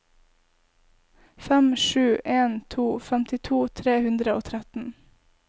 fem sju en to femtito tre hundre og tretten